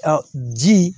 A ji